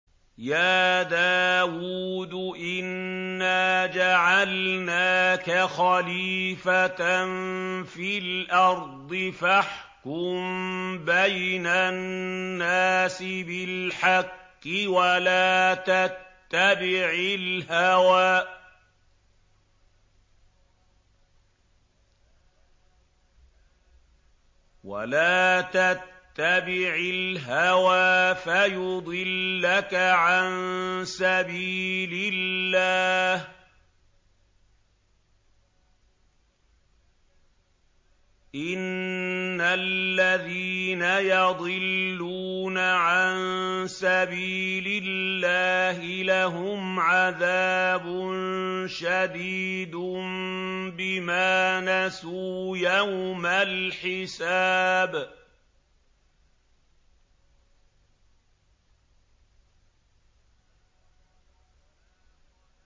يَا دَاوُودُ إِنَّا جَعَلْنَاكَ خَلِيفَةً فِي الْأَرْضِ فَاحْكُم بَيْنَ النَّاسِ بِالْحَقِّ وَلَا تَتَّبِعِ الْهَوَىٰ فَيُضِلَّكَ عَن سَبِيلِ اللَّهِ ۚ إِنَّ الَّذِينَ يَضِلُّونَ عَن سَبِيلِ اللَّهِ لَهُمْ عَذَابٌ شَدِيدٌ بِمَا نَسُوا يَوْمَ الْحِسَابِ